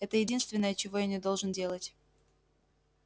это единственное чего я не должен делать